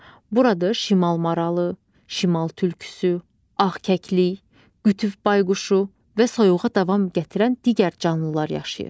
Burada şimal maralı, şimal tülküsü, ağkəklik, qütüb bayquşu və soyuğa davam gətirən digər canlılar yaşayır.